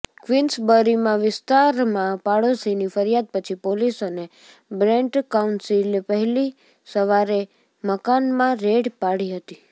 ક્વિન્સબરીમાં વિસ્તારમાં પાડોશીની ફરિયાદ પછી પોલિસ અને બ્રેન્ટ કાઉન્સિલે વહેલી સવારે મકાનમાં રેડ પાડી હતી